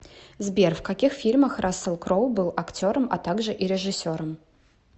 сбер в каких фильмах рассел кроу был актером а также и режисером